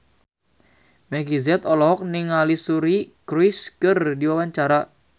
Meggie Z olohok ningali Suri Cruise keur diwawancara